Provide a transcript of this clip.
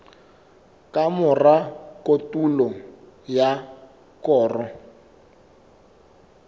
ka mora kotulo ya koro